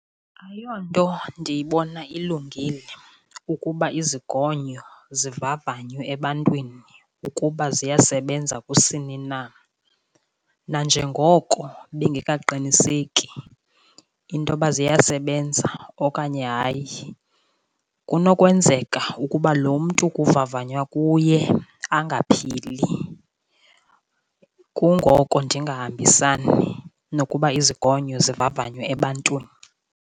Ayonto ndiyibona ilungile ukuba izigonyo zivavanywe ebantwini ukuba ziyasebenza kusini na. Nanjengoko bengakaqiniseki into yoba ziyasebenza okanye hayi, kunokwenzeka ukuba lo mntu kuvavanywa kuye angaphili. Kungoko ndingahambisani nokuba izigonyo zivavanywe ebantwini.